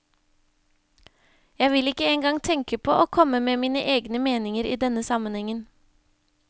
Jeg vil ikke en gang tenke på å komme med mine egne meninger i denne sammenhengen.